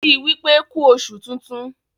ki wípé ku oṣù tintun!